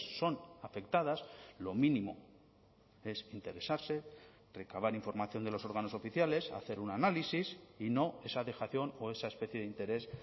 son afectadas lo mínimo es interesarse recabar información de los órganos oficiales hacer un análisis y no esa dejación o esa especie de interés